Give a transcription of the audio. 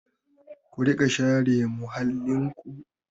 Ku riƙa share muhallinku!